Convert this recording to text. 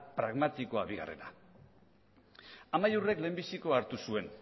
pragmatikoa bigarrena amaiurrek lehenbizikoa hartu zuen